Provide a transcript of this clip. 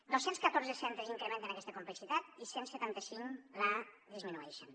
dos cents catorze centres incrementen aquesta complexitat i cent i setanta cinc la disminueixen